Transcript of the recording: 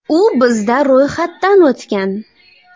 U bizda ro‘yxatdan o‘tgan.